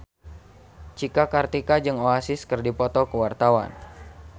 Cika Kartika jeung Oasis keur dipoto ku wartawan